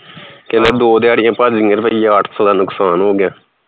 ਕਹਿੰਦੇ ਦੋ ਦਿਹਾੜੀਆਂ ਭੱਜ ਗੀਆ ਅੱਠ ਸੌ ਦਾ ਨੁਕਸਾਨ ਹੋ ਗਿਆ